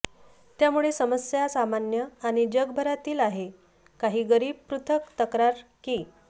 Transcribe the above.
त्यामुळे समस्या सामान्य आणि जगभरातील आहे काही गरीब पृथक् तक्रार की